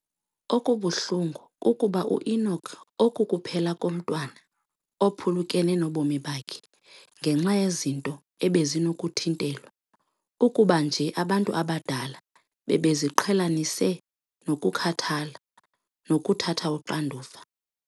Okubuhlungu kukuba u-Enock akukuphela komntwana ophulukene nobomi bakhe ngenxa yezinto ebezinokuthintelwa, ukuba nje abantu abadala bebeziqhelanise nokukhathala nokuthatha uxanduva.